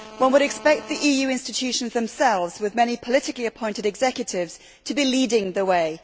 One would expect the EU institutions themselves with many politically appointed executives to be leading the way.